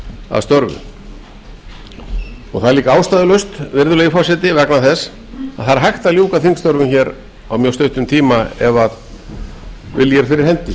að störfum það er líka ástæðulaust virðulegi forseti vegna þess að það er hægt að ljúka þingstörfum á mjög stuttum tíma ef vilji er fyrir hendi